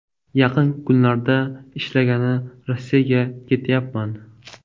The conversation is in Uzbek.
Yaqin kunlarda ishlagani Rossiyaga ketyapman.